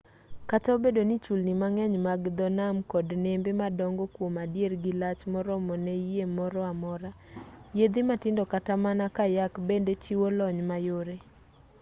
kata obedo ni chulni mang'eny mag dho nam kod nembe madongo kwom adier gilach moromo ne yie moro amora yiedhi matindo kata mana kayak bende chiwo lony mayore